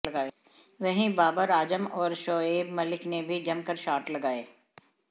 वहीं बाबर आजम और शोएब मलिक ने भी जमकर शॉट लगाये